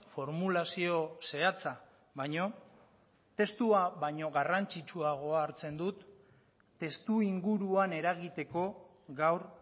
formulazio zehatza baino testua baina garrantzitsuagoa hartzen dut testuinguruan eragiteko gaur